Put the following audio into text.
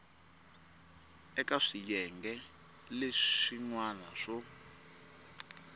eka swiyenge leswin wana swo